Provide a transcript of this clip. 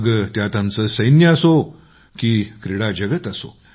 मग त्यात आमचं सैन्य असो की मग क्रीडा जगत असो